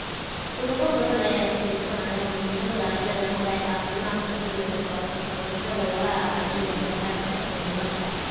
Ururo badan ayaa ka fiirsanaya muhiimada ay leedahay caafimaadka dhimirka wax ka qabashada walaaca iyo walbahaarka cimilada.